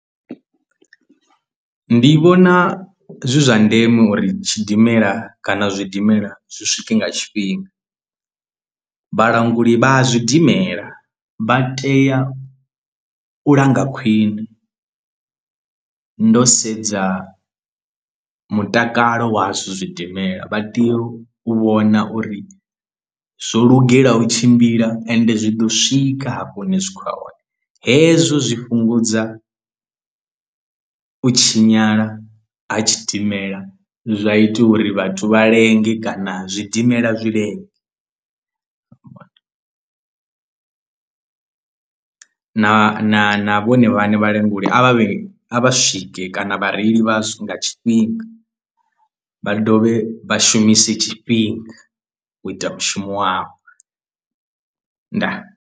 Ndi vhona zwi zwa ndeme uri tshidimela kana zwidimela zwi swike nga tshifhinga vhalanguli vha a zwidimela vha tea u langa khwiṋe ndo sedza mutakalo wazwo zwidimela vha tea u vhona uri zwo lugela u tshimbila ende zwi ḓo swika hafho hune zwi khou ya hone, hezwo zwi fhungudza u tshinyala ha tshidimela zwa ita uri vhathu vha lenge kana zwidimela zwi lenge na na na vhone vhaṋe vhalanguli a vhe a vha swike kana vhareili vhazwo nga tshifhinga vha dovhe vha shumise tshifhinga u ita mushumo wavho ndaa!.